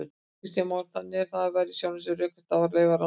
Kristján Már: Þannig að það væri í sjálfu sér rökrétt að leyfa rannsóknir?